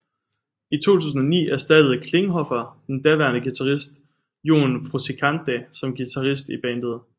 I 2009 erstattede Klinghoffer den daværende guitarist John Frusciante som guitarist i bandet